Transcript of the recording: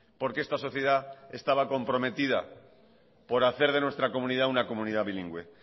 porque esta sociedad estaba comprometida por hacer de nuestra comunidad una comunidad bilingüe